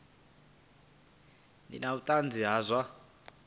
ḓe na vhuṱanzi ha zwa